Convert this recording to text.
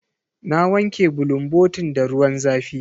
Na wanke bulunbotin da ruwan zafi.